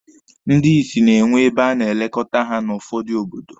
Ndị isi na-enwe ebe a na-elekọta ha n'ụfọdụ obodo.